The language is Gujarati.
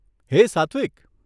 હે સાત્વિક !